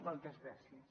moltes gràcies